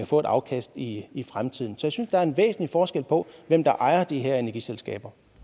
få et afkast i i fremtiden så jeg synes der er en væsentlig forskel på hvem der ejer de her energiselskaber